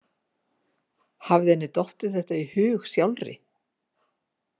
Hafði henni dottið þetta í hug sjálfri?